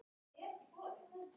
Hann gleymdi glasinu handa mér.